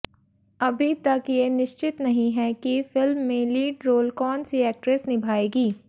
अभी तक ये निश्चित नहीं है कि फिल्म में लीड रोल कौन सी एक्ट्रेस निभाएगी